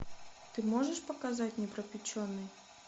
ты можешь показать непропеченный